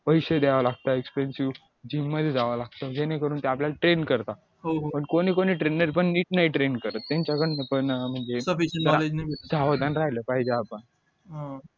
पैसे द्यावा लागतात expensive घ्यावा लागतो जेणेकरून ते आपल्याला train करतात पण कोणी कोणी trainer पण नीट नाही train करत त्यांच्याकडन पण म्हणजे सावधान राहायल पाहिजे आपण